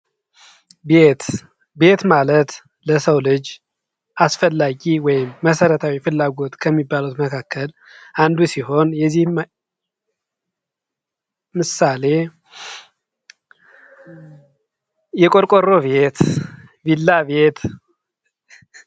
ቤት ማለት ለሰው ልጅ አስፈላጊ ወይም መሰረታዊ ፍላጎት ከሚባሉት መካከል አንዱ ሲሆን የዚህም ምሳሌ የቆርቆሮ ቤት፥ ቪላ ቤት ነው።